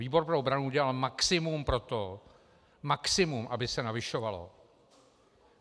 Výbor pro obranu udělal maximum pro to - maximum -, aby se navyšovalo.